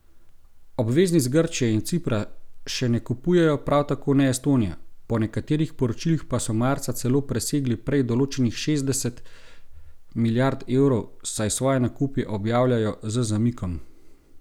Obveznic Grčije in Cipra še ne kupujejo, prav tako ne Estonije, po nekaterih poročilih pa so marca celo presegli prej določenih šestdeset milijard evrov, saj svoje nakupe objavljajo z zamikom.